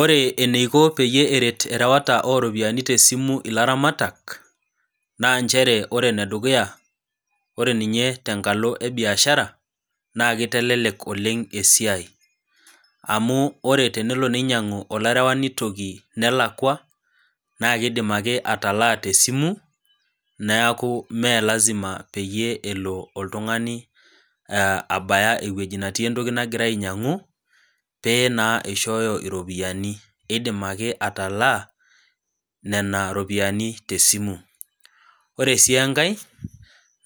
Ore eneiko peyie eret erewata oropiyiani tesimu ilaramatak ,naa ore ene dukuya ore ninye tenkalo ebiashara naa kitelek esiai ,amu tenelo nainyangu olarewani toki nelakwa naa keidim ake ataalaa tesimu neeku melasima peyie elo oltungani abaya eweji netii entoki nagira ainyangu, pee ishoyo ropiyiani, eidim ake ataalaa nena ropiyiani tesimu ,naa ore sii enkae